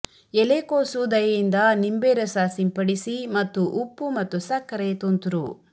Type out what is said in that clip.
ಎಲೆಕೋಸು ದಯೆಯಿಂದ ನಿಂಬೆ ರಸ ಸಿಂಪಡಿಸಿ ಮತ್ತು ಉಪ್ಪು ಮತ್ತು ಸಕ್ಕರೆ ತುಂತುರು